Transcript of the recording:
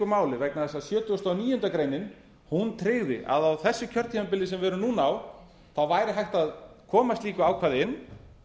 máli vegna þess að sjötugasta og níundu grein tryggði að á þessu kjörtímabili sem við erum núna á væri hægt að koma slíku ákvæði inn